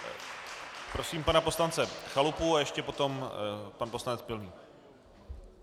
Prosím pana poslance Chalupu a ještě potom pan poslanec Pilný.